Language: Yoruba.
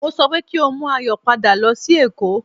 Mo sọ pé kí o mú Ayọ̀ padà lọ sí èkó